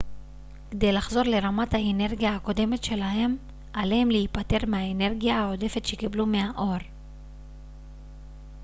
כדי לחזור לרמת האנרגיה הקודמת שלהם עליהם להיפטר מהאנרגיה העודפת שקיבלו מהאור